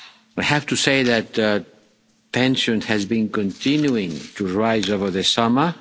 I have to say that tensions have been continuing to rise over the summer.